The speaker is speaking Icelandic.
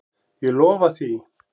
Ég lofa því.